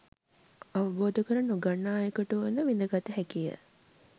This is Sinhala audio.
අවබෝධ කර නොගන්නා අයකුට වුවද විඳගත හැකිය.